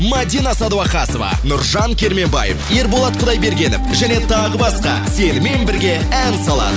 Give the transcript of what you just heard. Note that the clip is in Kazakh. мадина садуақасова нұржан керменбаев ерболат құдайбергенов және тағы басқа сенімен бірге ән салады